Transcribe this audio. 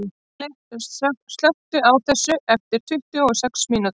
Valli, slökktu á þessu eftir tuttugu og sex mínútur.